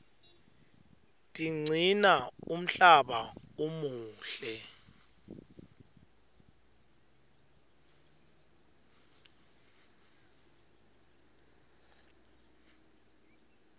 tiqcina umhlaba umuhle